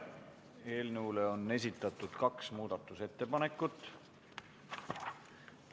Eelnõu kohta on esitatud kaks muudatusettepanekut.